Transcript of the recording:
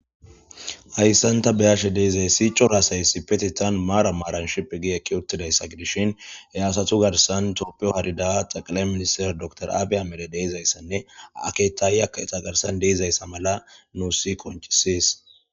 hayssanta beyashe deezayssi coraasay si petitan maara maaran shiphi gi ekki uttidayssa gidishin he aasatu garsan tooppiyo harida xaqale minister door aabiya mede deizayssanne aketay aka eta garsan deizayssa mala nuusi koncisiis